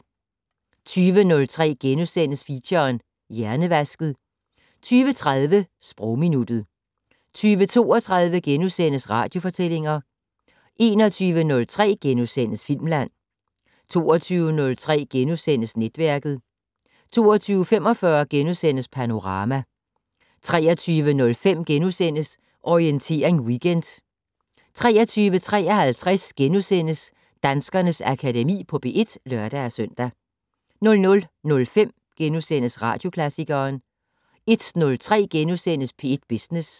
20:03: Feature: Hjernevasket * 20:30: Sprogminuttet 20:32: Radiofortællinger * 21:03: Filmland * 22:03: Netværket * 22:45: Panorama * 23:05: Orientering Weekend * 23:53: Danskernes Akademi på P1 *(lør-søn) 00:05: Radioklassikeren * 01:03: P1 Business *